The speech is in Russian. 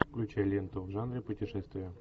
включай ленту в жанре путешествия